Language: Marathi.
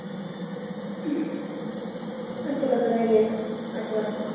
आणि तुला तर नाही येत आठवण.